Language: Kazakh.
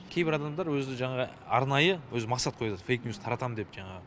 кейбір адамдар өзі жаңағы арнайы өзі мақсат қояды фэйк ньюс таратамын деп жаңағы